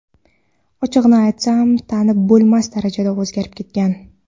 Ochig‘ini aytsam, tanib bo‘lmas darajada o‘zgarib ketgan.